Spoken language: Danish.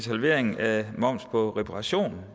halvering af momsen på reparationer